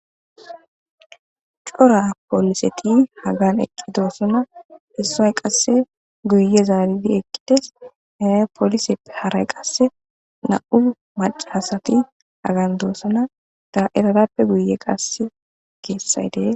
Cora poliseti Hagan eqidosona issoy qase guye zaaridi eqides he poliseppe haray qase nam'u maca asati Hagan doosona eetappe guyen qase keethay dees.